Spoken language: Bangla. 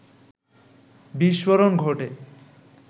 বিস্ফোরণ ঘটে